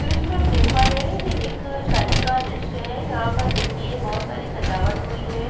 दृश्य में हम देख पा रहे है ये एक शादी का दृश्य है यहाँ पर देखिये बहत सारी सजावट हुई है।